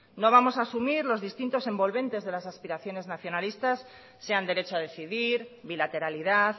no vamos a asumir los distintos envolvente de las aspiraciones nacionalistas sean derecho a decidir bilateralidad